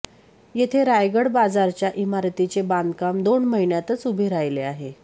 तेथे रायगड बाजारच्या इमारतीचे बांधकाम दोन महिन्यातच उभे राहिले आहे